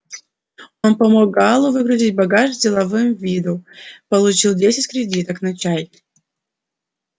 он помог гаалу выгрузить багаж с деловым видом получил десять кредиток на чай